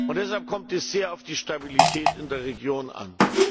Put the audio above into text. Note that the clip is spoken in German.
Deshalb kommt es sehr auf die Stabilität in der Region an.